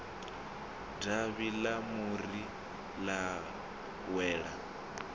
davhi ḽa muri ḽa wela